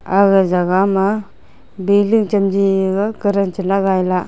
aga jagah ma building chamji gaga kadan chala gaila.